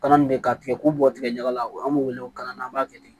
Kalan min bɛ ka tigɛ k'u bɔ tigɛ ɲaga la o b'u wele ko kalanna an b'a kɛ ten